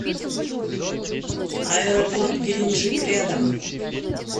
аэропорт геленджик рядом